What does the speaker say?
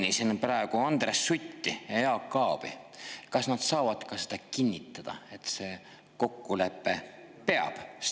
Kuna ma mainisin praegu Andres Sutti ja Jaak Aabi, siis kas nad saavad ka seda kinnitada, et see kokkulepe peab?